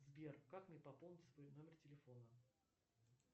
сбер как мне пополнить свой номер телефона